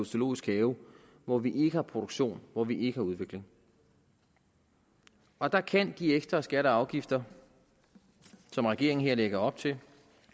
zoologisk have hvor vi ikke har produktion hvor vi ikke har udvikling og der kan de ekstra skatter og afgifter som regeringen her lægger op til